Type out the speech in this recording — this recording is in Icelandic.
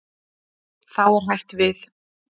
Þá er hætt við.